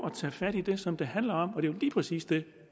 at tage fat i det som det handler om det er lige præcis det